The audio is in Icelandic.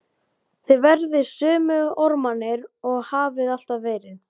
Þið verðið sömu ormarnir og þið hafið alltaf verið.